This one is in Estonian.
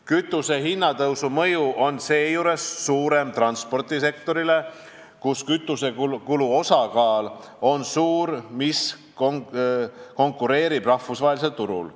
Kütusehinna tõusu mõju on seejuures suurem transpordisektorile, kus kütusekulu osakaal on suur ning mis konkureerib rahvusvahelisel turul.